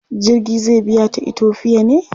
Jirgin zai biya ta Itofiya ne?